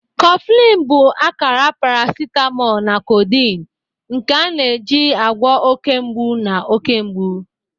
Coffin bụ akara paracetamol na codeine, nke a na-eji agwọ oke mgbu na oke mgbu.